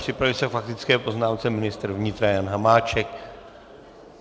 Připraví se k faktické poznámce ministr vnitra Jan Hamáček.